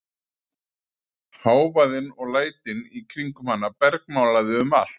Hávaðinn og lætin í kringum hana bergmálaði um allt.